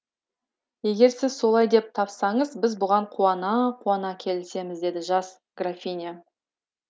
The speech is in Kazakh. егер сіз солай деп тапсаңыз біз бұған қуана қуана келісеміз деді жас графиня